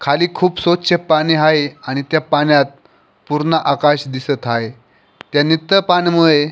खाली खूप स्वछ पाणी आहे आणि त्या पाण्यात पूर्ण आकाश दिसत आहे त्या नितळ पाण्यामुळे --